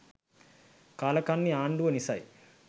කාලකන්නි ආංඩුව නිසයි